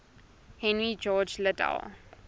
henry george liddell